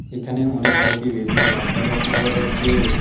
এখানে অনেক কয়টি রেল -এর রাস্তা লক্ষ্য করা যাচ্ছে।